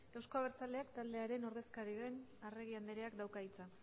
euzko abertzaleak taldearen ordezkari den arregi andreak dauka hitza